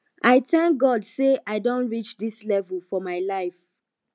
i thank god say i don reach dis level for my life